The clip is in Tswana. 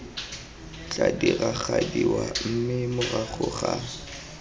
tla diragadiwa mme morago ga